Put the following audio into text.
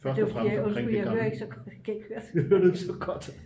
hører du ikke så godt?